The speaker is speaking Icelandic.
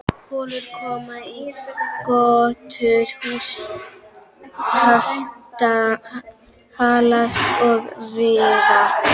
Holur koma í götur, hús hallast og riða.